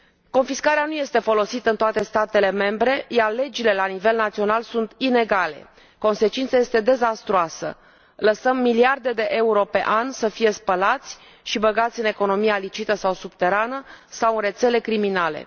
Confiscarea nu este folosită în toate statele membre, iar legile la nivel național sunt inegale, consecința este dezastruoasă lăsăm miliarde de euro pe an să fie spălați și băgați în economia ilicită sau subterană, sau în rețele criminale.